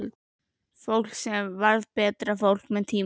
Fólk sem varð betra fólk með tímanum.